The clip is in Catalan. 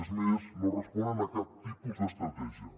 és més no responen a cap tipus d’estratègia